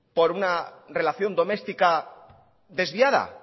por una relación doméstica desviada